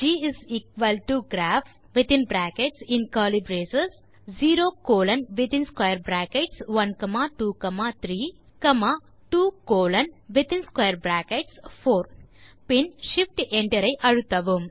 GGraph0123 24 பின் shift enter ஐ அழுத்துங்கள்